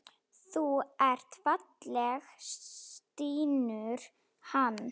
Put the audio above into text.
Þú ert falleg, stynur hann.